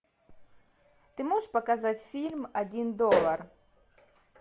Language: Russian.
ты можешь показать фильм один доллар